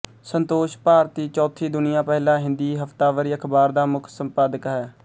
ਸੰਤੋਸ਼ ਭਾਰਤੀ ਚੌਥੀ ਦੁਨੀਆ ਪਹਿਲਾ ਹਿੰਦੀ ਹਫਤਾਵਾਰੀ ਅਖਬਾਰ ਦਾ ਮੁੱਖ ਸੰਪਾਦਕ ਹੈ